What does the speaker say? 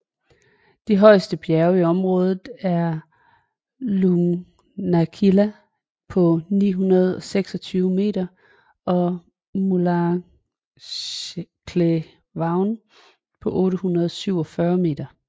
De højeste bjerge i området er Lugnaquilla på 926 m og Mullaghcleevaun på 847 m